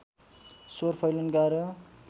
स्वर फैलन गाह्रो